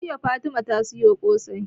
Jiya fatima ta soya ƙosai